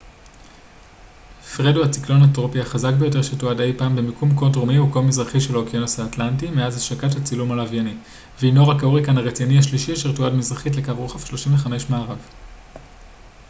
פרד הוא הציקלון הטרופי החזק ביותר שתועד אי פעם במיקום כה דרומי וכה מזרחי של האוקיינוס האטלנטי מאז השקת הצילום הלווייני והנו רק ההוריקן הרציני השלישי אשר תועד מזרחית לקו רוחב 35 מערב